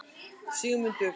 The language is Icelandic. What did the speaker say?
Sigmundur